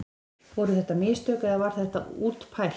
Voru þetta mistök eða var þetta útpælt?